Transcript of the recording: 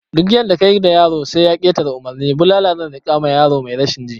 Duk yadda kayi da yaro sai ya ketare umurni, bulala zan rika ma yaro mai rashin ji